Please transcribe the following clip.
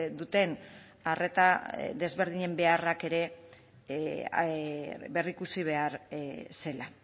duten arreta desberdinen beharrak ere berrikusi behar zela